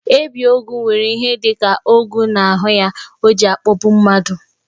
Ebiogwu were ihe dika ogwu n'ahụ ya, oji akpọgbu mmadụ.